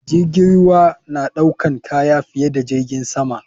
Jirgin ruwa naɗaukan kaya fiye da jirgin sama.